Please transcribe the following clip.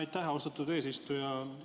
Aitäh, austatud eesistuja!